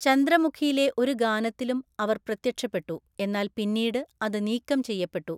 ചന്ദ്രമുഖിയിലെ ഒരു ഗാനത്തിലും അവർ പ്രത്യക്ഷപ്പെട്ടു, എന്നാൽ പിന്നീട് അത് നീക്കം ചെയ്യപ്പെട്ടു.